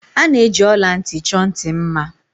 A na-eji ọla ntị chọọ ntị mma.